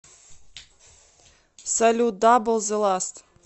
салют дабл зэ ласт